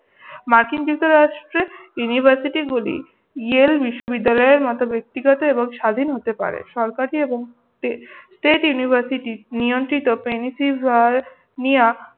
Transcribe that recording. মার্কিন যুক্তরাষ্ট্রে university গুলি ইয়েল বিশ্ববিদ্যালয়ের মত ব্যক্তিগত এবং স্বাধীন হতে পারে। সরকারি এবং state university নিয়ন্ত্রিত পেন্সিল্ভেনিয়া